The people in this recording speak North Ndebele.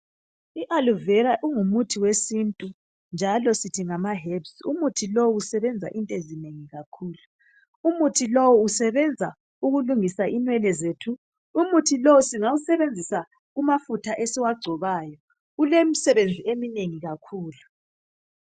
I aloe vera ungumuthi wesintu njalo sithi ngama herbs umuthi lowo usebenza izinto ezinengi kakhulu umuthi lowo usebenza ukulungisa inwele zethu umuthi lo singawusebenzisa kumafutha esiwagcobayo ulemisebenzi eminengi kakhulu.